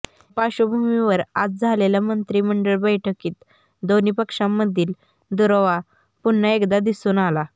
या पार्श्वभूमीवर आज झालेल्या मंत्रिमंडळ बैठकीत दोन्ही पक्षांमधील दुरावा पुन्हा एकदा दिसून आला